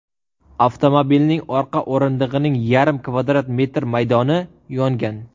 Avtomobilning orqa o‘rindig‘ining yarim kvadrat metr maydoni yongan.